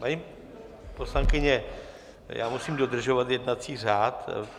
Paní poslankyně, já musím dodržovat jednací řád.